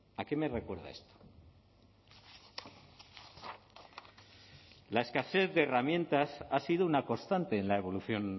a qué me recuerda esto la escasez de herramientas ha sido una constante en la evolución